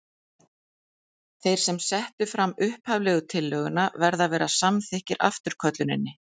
Þeir sem settu fram upphaflegu tillöguna verða að vera samþykkir afturkölluninni.